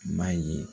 I b'a ye